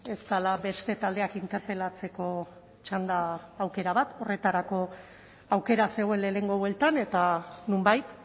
ez dela beste taldeak interpelatzeko txanda aukera bat horretarako aukera zegoen lehenengo bueltan eta nonbait